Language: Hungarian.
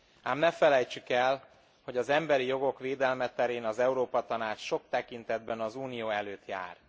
Ám ne felejtsük el, hogy az emberi jogok védelme terén az Európa Tanács sok tekintetben az Unió előtt jár.